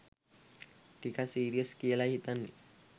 ටිකක් සීරියස් කියලායි හිතෙන්නේ.